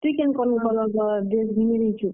ତୁଇ କେନ୍ colour ର dress ଘିନି ଦେଇଛୁ?